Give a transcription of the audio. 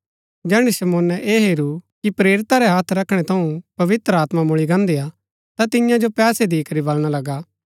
जैहणै शमौने ऐह हेरू कि प्रेरिता रै हत्थ रखणै थऊँ पवित्र आत्मा मुळी गान्दीआ ता तियां जो पैसे दिकरी बलणा लगा